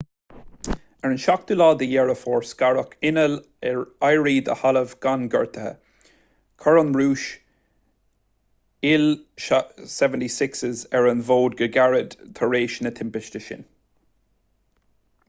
ar an 7 deireadh fómhair scaradh inneall ar éirí de thalamh gan gortuithe chuir an rúis il-76s ar an bhfód go gairid tar éis na timpiste sin